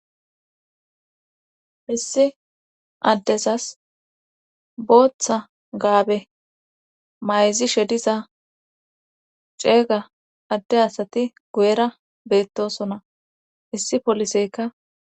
issi addesas booththa gaabe mayzi she diza ceega adde asati go7era beettosona issi poliseykka